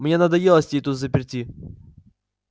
мне надоело сидеть тут взаперти